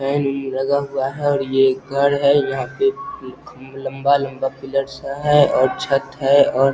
लगा हुआ है और ये घर है यहाँ पे लम्बा-लम्बा पिलर है और छत है और